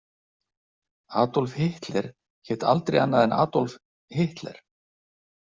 Adolf Hitler hét aldrei annað en Adolf Hitler.